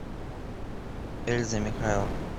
эльза михайловна